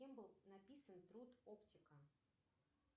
кем был написан труд оптика